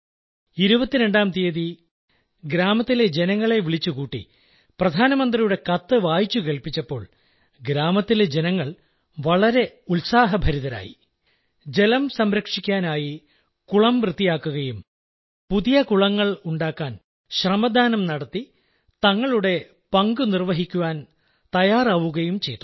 22ാം തീയതി ഗ്രാമത്തിലെ ജനങ്ങളെ വിളിച്ചുകൂട്ടി പ്രധാനമന്ത്രിയുടെ കത്ത് വായിച്ചുകേൾപ്പിച്ചപ്പോൾ അവർ വളരെ ഉത്സാഹഭരിതരായി ജലം സംരക്ഷിക്കാനായി കുളം വൃത്തിയാക്കുകയും പുതിയ കുളങ്ങളുണ്ടാക്കാൻ ശ്രമദാനം നടത്തി തങ്ങളുടെ പങ്കുനിർവ്വഹിക്കാൻ തയ്യാറാവുകയും ചെയ്തു